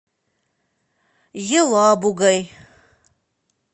елабугой